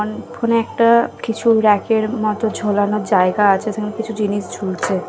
ফোনে একটা কিছু র‌্যাকের মতো ঝোলানোর জায়গা আছে সেখানে কিছু জিনিস ঝুলছে ।